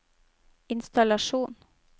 innstallasjon